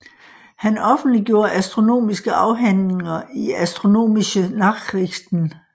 Han offentliggjorde astronomiske afhandlinger i Astronomische Nachrichten